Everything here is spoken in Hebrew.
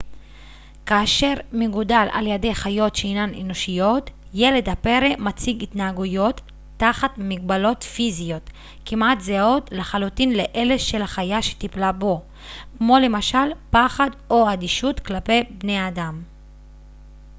כאשר מגודל על-ידי חיות שאינן אנושיות ילד הפרא מציג התנהגויות תחת מגבלות פיזיות כמעט זהות לחלוטין לאלה של החיה שטיפלה בו כמו למשל פחד או אדישות כלפי בני אדם